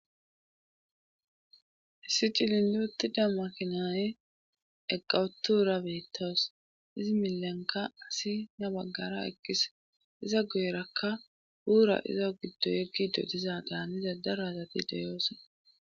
Issi cilinli uttida makinaye eqawutuura beettos izi milenka asi na baggara ekkis iza goyrakka buura iza giddo yeggido diza daaniza darazati deyoose.